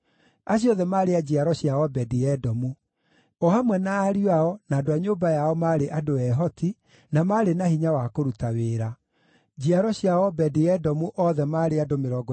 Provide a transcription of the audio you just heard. Acio othe maarĩ a njiaro cia Obedi-Edomu; o hamwe na ariũ ao, na andũ a nyũmba yao maarĩ andũ ehoti, na maarĩ na hinya wa kũruta wĩra. Njiaro cia Obedi-Edomu othe maarĩ andũ 62.